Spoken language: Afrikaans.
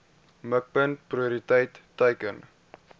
mikpunt prioriteit teiken